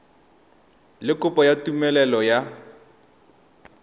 le kopo ya tumelelo ya